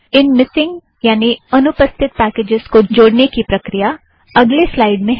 इन missing यानि अनुपस्थित packages को जोड़ने की प्रक्रिया अगले स्लाइड़ में है